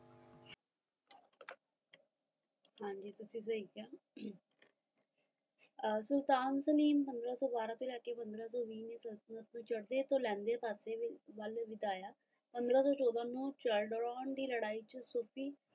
ਹਾਂਜੀ ਤੁਸੀ ਸਹੀ ਕਿਆ ਸੁਲਤਾਨ ਪੰਦਰਾ ਸੋ ਬਾਰਾਂ ਤੋਂ ਲੈ ਕੇ ਪੰਦਰਾ ਸੋ ਵੀਹ ਚ ਚੜ੍ਹਤੇ ਲੈਣਦੇ ਵੱਲ ਵਧਾਇਆ ਪੰਦਰਾ ਸੋ ਚੋਦਾਂ ਨੂੰ ਸੇਦਰੋਂ ਦੀ ਲੜਾਈ